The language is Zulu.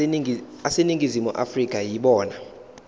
aseningizimu afrika yibona